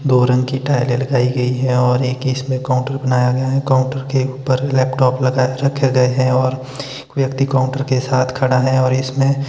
दो रंग की टाइलें लगाई गई है और एक इसमें काउंटर बनाया गया है काउंटर के ऊपर लैपटॉप लगाए रखे गए है और एक व्यक्ति काउंटर के साथ खड़ा है और इसमें--